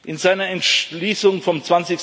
In seinen Entschließungen vom